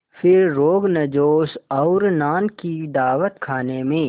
फिर रोग़नजोश और नान की दावत खाने में